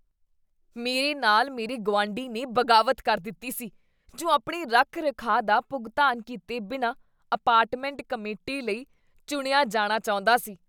ਮੇਰੇ ਨਾਲ ਮੇਰੇ ਗੁਆਂਢੀ ਨੇ ਬਗਾਵਤ ਕਰ ਦਿੱਤੀ ਸੀ, ਜੋ ਆਪਣੇ ਰੱਖ ਰਖਾਅ ਦਾ ਭੁਗਤਾਨ ਕੀਤੇ ਬਿਨਾਂ ਅਪਾਰਟਮੈਂਟ ਕਮੇਟੀ ਲਈ ਚੁਣਿਆ ਜਾਣਾ ਚਾਹੁੰਦਾ ਸੀ